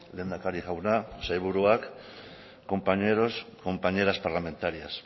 lehendakari jauna sailburuak compañeros compañeras parlamentarias